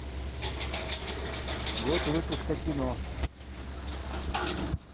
год выпуска кино